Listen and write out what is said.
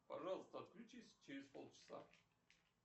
пожалуйста отключись через пол часа